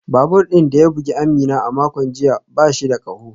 Babur din da ya bugi Amina a makon jiya ba shi da kaho